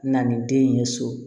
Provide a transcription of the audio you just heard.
Na ni den ye so